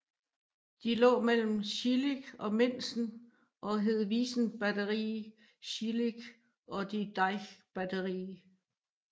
De lå mellem Schillig og Minsen og hed Wiesenbatterie Schillig og die Deichbatterie